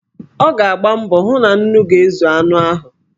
Ọ ga-agba mbọ hụ na nnu ga-ezu anụ ahụ.